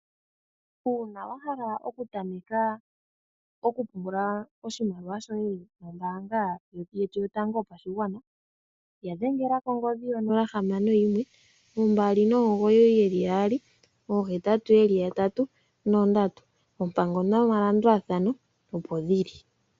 Uuna wa hala oku tameka oku pungula oshimaliwa shoye nombaanga yetu yotango yopashigwana, ya dhengela kongodhi yo nola hamano yimwe, ombali nomigoyi dhili mbali, oohetatu yeli yatatu nondatu. Oompango noma landulathano opo dhili.